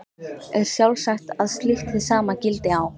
Er sjálfsagt að slíkt hið sama gildi á